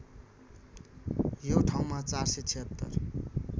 यो ठाउँमा ४७६